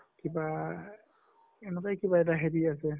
কিবা এনকাই কিবা এটা হেৰি আছে